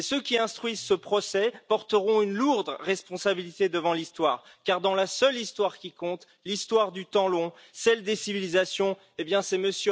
Ceux qui instruisent ce procès porteront une lourde responsabilité devant l'Histoire, car dans la seule Histoire qui compte, l'Histoire du temps long, celle des civilisations, eh bien c'est M.